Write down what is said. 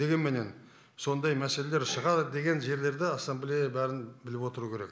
дегенменен сондай мәселелер шығады деген жерлерді ассамблея бәрін біліп отыру керек